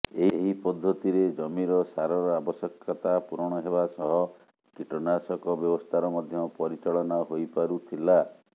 ଏହି ପଦ୍ଧତିରେ ଜମିର ସାରର ଆବଶ୍ୟକତା ପୂରଣ ହେବା ସହ କୀଟନାଶକ ବ୍ୟବସ୍ଥାର ମଧ୍ୟ ପରିଚାଳନା ହୋଇପାରୁଥିଲା